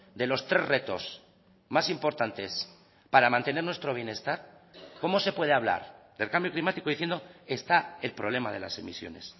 de los tres retos más importantes para mantener nuestro bienestar cómo se puede hablar del cambio climático diciendo está el problema de las emisiones